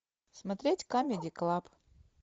смотреть камеди клаб